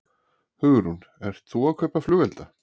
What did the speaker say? Hugrún: Ert þú að kaupa flugelda?